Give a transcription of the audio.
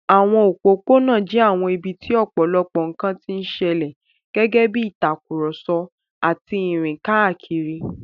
Àwọn òpópónà jẹ́ àwọn ibi tí ọ̀pọ̀lọpọ̀ nkan ti ń ṣẹlẹ̀, gẹ́gẹ́ bí ìtàkùrọ̀sọ àti ìrìn káàkiri.